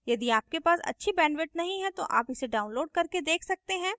यदि आपके पास अच्छी bandwidth नहीं है तो आप इसे download करके देख सकते हैं